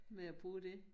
Med at bruge det